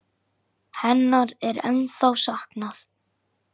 Hennar er ennþá saknað.